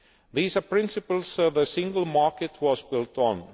These are the principles that the single market was built